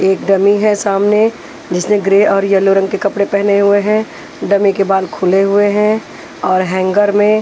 एक डमी है सामने जिसने ग्रे और येलो रंग के कपड़े पहने हुए हैं डमी के बाल फुले हुए हैं और हैंगर में --